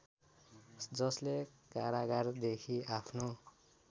जसले कारागारदेखि आफ्नो